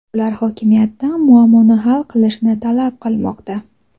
ular hokimiyatdan muammoni hal qilishni talab qilmoqda.